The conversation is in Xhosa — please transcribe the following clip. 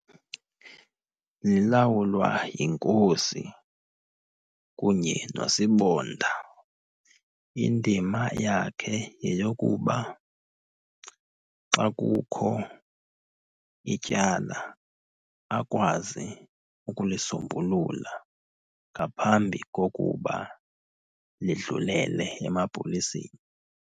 Lilawulwa yiNkosi kunye noSibonda. Indima yakhe yeyokuba xa kukho ityala akwazi ukulisombulula ngaphambi kokuba lidlulele emapoliseni.